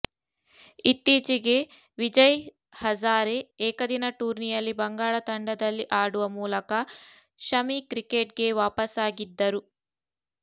ಇತ್ತೀಚೆಗೆ ವಿಜಯ್ ಹಝಾರೆ ಏಕದಿನ ಟೂರ್ನಿಯಲ್ಲಿ ಬಂಗಾಳ ತಂಡದಲ್ಲಿ ಆಡುವ ಮೂಲಕ ಶಮಿ ಕ್ರಿಕೆಟ್ಗೆ ವಾಪಸಾಗಿದ್ದರು